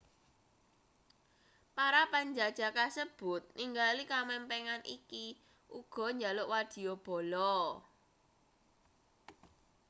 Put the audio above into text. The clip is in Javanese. para panjajah kasebut ningali kamempengan iki uga njaluk wadyabala